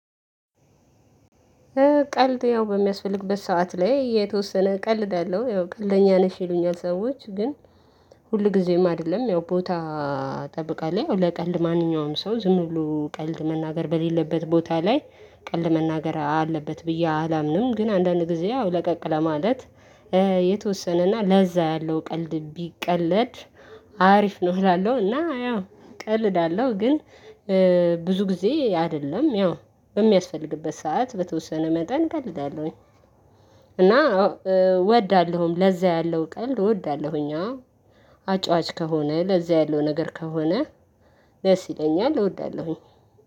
ቀልድ ያው በሚያስፈልግበት ሰዓት ላይ የተወሰነ ቀልዳለው ያው ቀልደኛ ነሽ ይሉኛል ሰዎች ግን ሁልጊዜም አይደለም ያው ቦታ ጠብቃለሁ ለቀልድ ማንኛውም ሰው ዝም ብሎ ቀልድ መናገር በሌለበት ቦታ ላይ ቀልድ መናገር አለበት ብዬ አላምንም ግን አንዳንድ ጊዜ ያው ለቀቅ ለማለት የተወሰነና ለዛ ያለው ቀልድ ቢቀለድ አሪፍ ነው። እላለሁና እና ያው ቀልድ አለው ግን ብዙ ጊዜ አይደለም ያው በሚያስፈልግበት ሰዓት በተወሰነ መጠን ቀልዳለሁኝ። እና እወዳለሁም ለዛ ያለው ቀልድ እወዳለሁኝ አጫዋች ከሆነ ለዚያ ያለው ነገር ከሆነ ደስ ይለኛል እወዳለሁኝ።